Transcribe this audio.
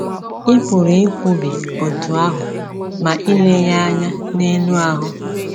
Ị pụrụ ikwubi otú ahụ ma i lee ya anya n’elu ahụ.